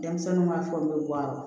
Denmisɛnninw b'a fɔ n bɛ bɔ a la